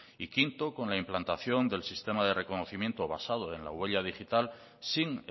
y quinto con la implantación del sistema de reconocimiento basado en la huella digital sin